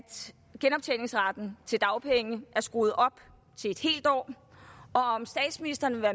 genoptjeningsretten til dagpenge er skruet op til et helt år og om statsministeren vil